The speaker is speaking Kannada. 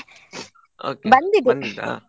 Okay ?